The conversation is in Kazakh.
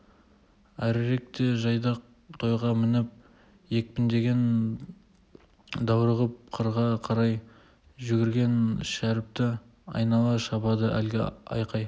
әріректе жайдақ тайға мініп екпіндеген даурығып қырға қарай жүгірген шәріпті айнала шабады әлгі айқай